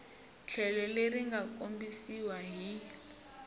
tlhelo leri nga kombisiwa hi